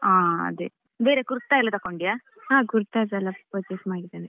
ಹಾ ಅದೇ ಬೇರೆ kurta ಎಲ್ಲ ತಕೊಂಡಿಯ?